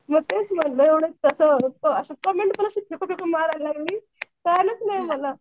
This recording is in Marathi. मग तेच म्हणलं असं कसं कमेंट पण अशी फेकून फेकून मारायला लागली कळालंच नाही मला.